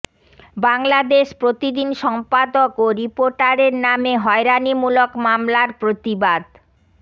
বাংলাদেশ প্রতিদিন সম্পাদক ও রিপোর্টারের নামে হয়রানিমূলক মামলার প্রতিবাদ